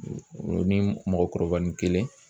O ni mɔgɔkɔrɔba ni kelen